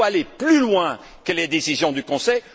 Il faut aller plus loin que les décisions du Conseil.